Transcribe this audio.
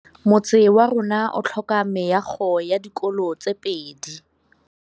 Motse warona o tlhoka meago ya dikolô tse pedi.